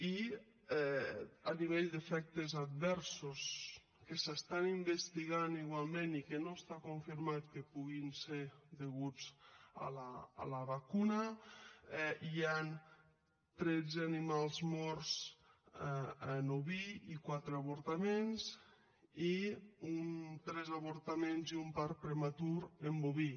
i a nivell d’efectes adversos que s’investiguen igualment i que no està confirmat que puguin ser deguts a la vacuna hi han tretze animals morts en oví i quatre avortaments i tres avortaments i un part prematur en boví